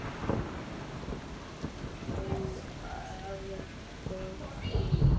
Færðu nóg að borða?